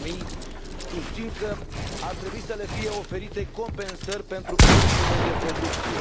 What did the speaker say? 2000. Susțin că ar trebui să le fie oferite compensări pentru pierderile de producție.